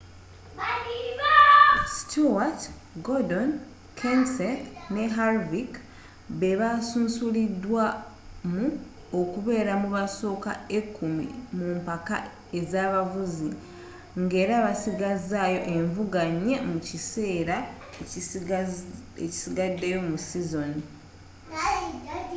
stewart gordon kenseth ne harvick be basunsulidwamu okubeera mu basooka ekkumi mu mpaka z'abavuzi ng'era basigazizaayo envuga nnya mu kiseera ekisigaddeyo mu sizoni